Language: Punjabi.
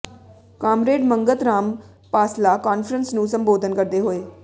ਕਾਮਰੇਡ ਮੰਗਤ ਰਾਮ ਪਾਸਲਾ ਕਾਨਫਰੰਸ ਨੂੰ ਸੰਬੋਧਨ ਕਰਦੇ ਹੋਏ